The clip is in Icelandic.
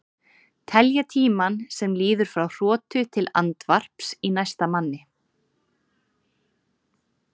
Telja tímann sem líður frá hrotu til andvarps í næsta manni.